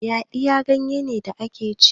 yaɗiya ganye ne da ake ci